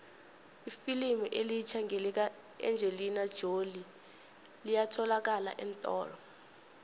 ifilimu elitjha lika engelina jolie liyatholalakala eentolo